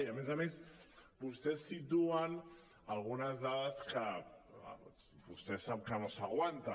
i a més a més vostès situen algunes dades que vostè sap que no s’aguanten